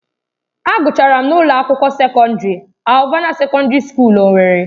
Agụchara m na ụlọ akwụkwọ sekọndrị Alvana Sekọndrị Skuul Owerri